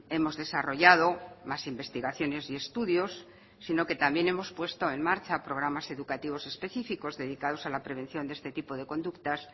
hemos desarrollado más investigaciones y estudios sino que también hemos puesto en marcha programas educativos específicos dedicados a la prevención de este tipo de conductas